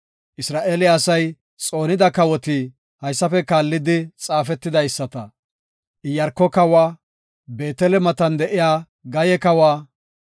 Isra7eele asay xoonida kawoti haysafe kaallidi xaafetidaysata; Iyaarko kawa, Beetele matan de7iya Gaye kawa,